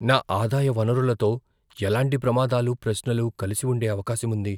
నా ఆదాయ వనరులతో ఎలాంటి ప్రమాదాలు, ప్రశ్నలు కలిసి ఉండే అవకాశం ఉంది?